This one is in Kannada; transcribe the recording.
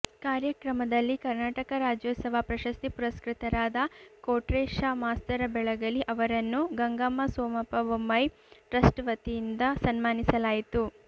ಕಾರ್ಯಕ್ರಮದಲ್ಲಿ ಕನರ್ಾಟಕ ರಾಜ್ಯೋತ್ಸವ ಪ್ರಶಸ್ತಿ ಪುರಸ್ಕೃತರಾದ ಕೋಟ್ರೆಶ ಮಾಸ್ತರ ಬೆಳಗಲಿ ಅವರನ್ನು ಗಂಗಮ್ಮ ಸೋಮಪ್ಪ ಬೊಮ್ಮಾಯಿ ಟ್ರಸ್ಟ್ ವತಿಯಿಂದ ಸನ್ಮಾನಿಸಲಾಯಿತು